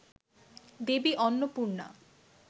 Devi Annapurna